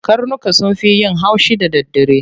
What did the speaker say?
Karnuka sun fi yin haushi da daddare.